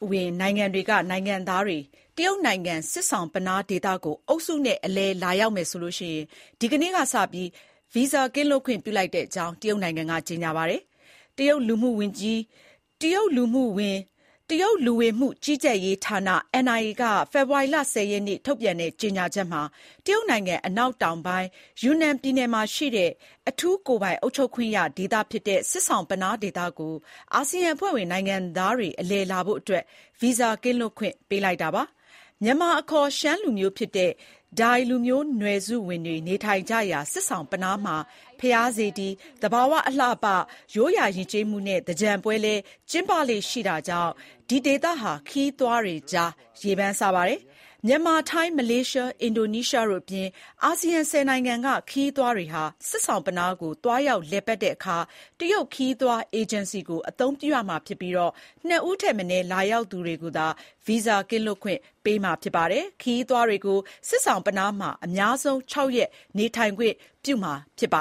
ဝင်နိုင်ငံတွေက နိုင်ငံသားတွေ တရုတ်နိုင်ငံ ဆစ်ဆောင်ပနား ဒေသကို အုပ်စုလိုက်အလည်လာကြမယ်ဆိုရင် ဒီကနေ့ကစလို့ ဗီဇာကင်းလွတ်ခွင့်ပြုလိုက်ကြောင်း တရုတ်နိုင်ငံက ကြေညာပါတယ်။ တရုတ်လူဝင်မှုကြီးကြပ်ရေးဌာန NIA က ဖေဖေါ်ဝါရီ ၁၀ ရက် ထုတ်ပြန်တဲ့ကြေညာချက်မှာ တရုတ်နိုင်ငံ အနောက်တောင်ပိုင်း၊ ယူနန်ပြည်နယ်မှာရှိတဲ့ အထူးကိုယ်ပိုင်အုပ်ချုပ်ခွင့်ရဒေသဖြစ်တဲ့ ဆစ်ဆောင်ပနားဒေသကို အာဆီယံအဖွဲ့ဝင် နိုင်ငံသားတွေ အလည်လာဖို့အတွက် ဗီဇာကင်းလွတ်ခွင့် ပေးလိုက်တာပါ။ မြန်မာအခေါ် ရှမ်းလူမျိုးဖြစ်တဲ့ ဒိုင်လူမျိုးနွယ်စုတွေနေထိုင်ကြရာ ဆစ်ဆောင်ပနား မှာ ဘုရားစေတီ၊ သဘာဝ အလှအပ၊ ရိုးရာ ယဉ်ကျေးမှုနဲ့ သင်္ကြန်ပွဲလည်း ကျင်းပလေ့ရှိတာကြောင့် ဒီဒေသဟာ ခရီးသွားတွေကြား ရေပန်းစားပါတယ်။ မြန်မာ၊ ထိုင်း၊ မလေးရှား၊ အင်ဒိုနီးရှားတို့အပြင် အာဆီယံ ၁၀ နိုင်ငံကခရီးသွားတွေ ဆစ်ဆောင်ပနားကို သွားရောက်လည်ပတ်တဲ့အခါ တရုတ်ခရီးသွားအေဂျင်စီကို အသုံးပြုရမှာဖြစ်ပြီး ၂ ဦးထက်မနည်း လာရောက်သူတွေကိုသာ ဗီဇာကင်းလွတ်ခွင့် ပေးမှာပါ။ ခရီးသွားတွေကို ဆစ်ဆောင်ပနားမှာ အများဆုံး ၆ ရက်နေထိုင်ခွင့်ပြုမှာဖြစ်ပ